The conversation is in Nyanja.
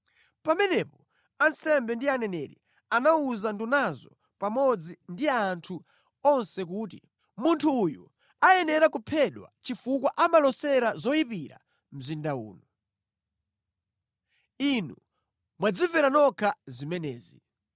Pamenepo ansembe ndi aneneri anawuza ndunazo pamodzi ndi anthu onse kuti, “Munthu uyu ayenera kuphedwa chifukwa amalosera zoyipira mzinda uno. Inu mwadzimvera nokha zimenezi!”